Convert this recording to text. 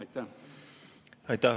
Aitäh!